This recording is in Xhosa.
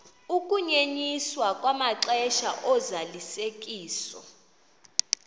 ukunyenyiswa kwamaxesha ozalisekiso